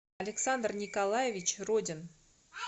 александр николаевич родин